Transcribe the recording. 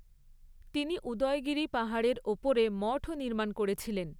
তিনি উদয়গিরি পাহাড়ের ওপরে মঠও নির্মাণ করেছিলেন।